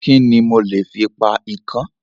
Kíni mo lè fi pa ikán?